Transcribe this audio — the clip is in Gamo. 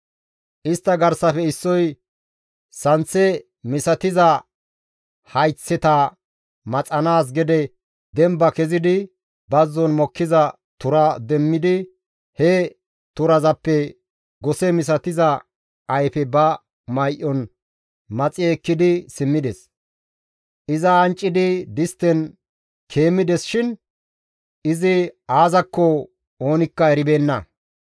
Istta garsafe issoy santhe misatiza hayththata maxanaas gede demba kezidi bazzon mokkiza tura demmidi he turazappe gose misatiza ayfe ba may7on maxi ekkidi simmides; iza anccidi distten keemmides shin izi aazakko oonikka eribeenna.